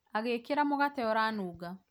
agĩkĩra mũgate ũranunga